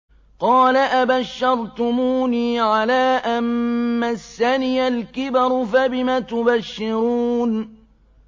قَالَ أَبَشَّرْتُمُونِي عَلَىٰ أَن مَّسَّنِيَ الْكِبَرُ فَبِمَ تُبَشِّرُونَ